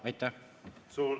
Aitäh!